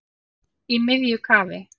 Í miðju kafi